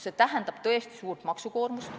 See tähendab tõesti suurt maksukoormust.